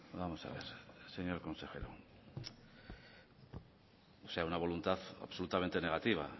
vamos a ver señor consejero es una voluntad absolutamente negativa